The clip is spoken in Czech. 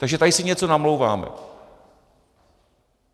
Takže tady si něco namlouváme.